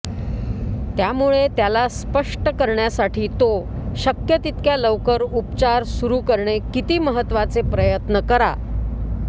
त्यामुळे त्याला स्पष्ट करण्यासाठी तो शक्य तितक्या लवकर उपचार सुरू करणे किती महत्त्वाचे प्रयत्न करा